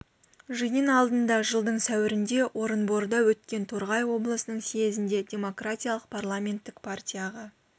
жиын алдында жылдың сәуірінде орынборда өткен торғай облысының съезінде демократиялық парламенттік партияға